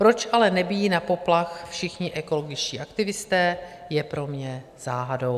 Proč ale nebijí na poplach všichni ekologičtí aktivisté, je pro mě záhadou.